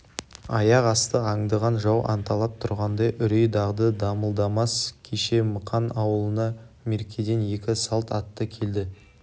аяқ асты аңдыған жау анталап тұрғандай үрей-дағды дамылдамас кеше мықан ауылына меркеден екі салт атты келді